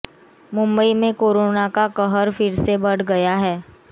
मुंबई में कोरोना का कहर फिर से बढ़ गया है